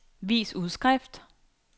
vis udskrift